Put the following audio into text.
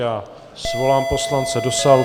Já svolám poslance do sálu.